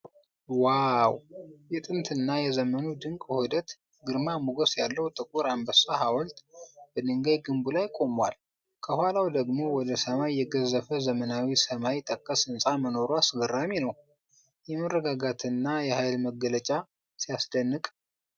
ዋው! የጥንትና የዘመኑ ድንቅ ውህደት! ግርማ ሞገስ ያለው ጥቁር አንበሳ ሐውልት በድንጋይ ግንቡ ላይ ቆሟል። ከኋላው ደግሞ ወደ ሰማይ የገዘፈ ዘመናዊ ሰማይ ጠቀስ ህንፃ መኖሩ አስገራሚ ነው። የመረጋጋትና የሃይል መግለጫ! ሲያስደንቅ!